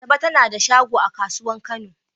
Asabe ta na da shago a kasuwan kano.